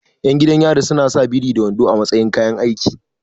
Ƴan gidan yari suna sa biri da wando a matsayin kayan aiki